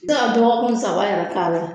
Se ga dɔgɔkun saba yɛrɛ k'a la